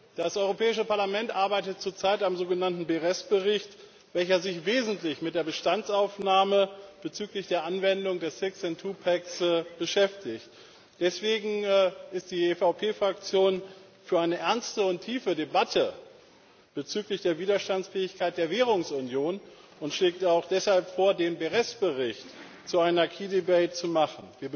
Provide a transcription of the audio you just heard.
Das Europäische Parlament arbeitet zurzeit am sogenannten Berés Bericht, welcher sich wesentlich mit der Bestandsaufnahme bezüglich der Anwendung des Six and Twopacks beschäftigt. Deswegen ist die EVP Fraktion für eine ernste und tiefe Debatte bezüglich der Widerstandsfähigkeit der Währungsunion und schlägt auch deshalb vor, den Berés Bericht zu einer key debate zu machen.